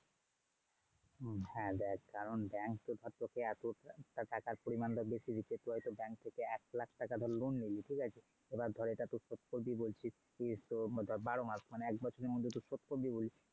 হ্যাঁ দেখ কারণ bank তো ধর তোকে এতটা টাকার পরিমাণটা বেশি দিচ্ছে। তুই ধর bank থেকে এক লাখ টাকার loan নিলি ঠিক আছে? এবার ধর এটা তুই শোধ করবি বলছিস মানে বারো মাস মানে এক বছরের মধ্যে তুই শোধ করবি বলছিস।